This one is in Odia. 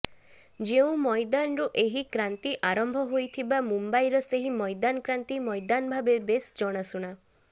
ଯେଉଁ ମଇଦାନରୁ ଏହି କ୍ରାନ୍ତି ଆରମ୍ଭ ହୋଇଥିବା ମୁମ୍ବାଇର ସେହି ମଇଦାନ କ୍ରାନ୍ତି ମଇଦାନ ଭାବେ ବେଶ ଜଣାଶୁଣା